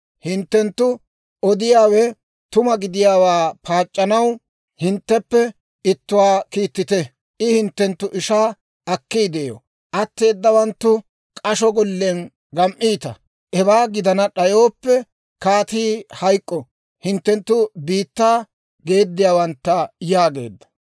Hinttenttu odiyaawe tuma gidiyaawaa paac'c'anaw, hintteppe ittuwaa kiittite; I hinttenttu ishaa akkiidde yo; atteedawanttu k'asho gollen gam"iita. Hewaa gidana d'ayooppe, kaatii hayk'k'o; hinttenttu biittaa geediyaawantta» yaageedda.